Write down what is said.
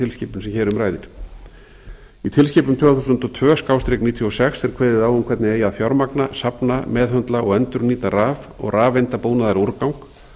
tilskipun sem hér um ræðir í tilskipun tvö þúsund og tvö níutíu og sex er kveðið á um hvernig eigi að fjármagna safna meðhöndla og endurnýta raf og rafeindabúnaðarúrgang